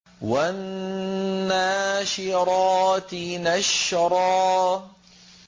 وَالنَّاشِرَاتِ نَشْرًا